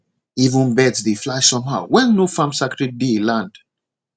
even birds dey fly somehow when nofarming sacred day land